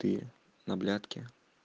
ты на блядки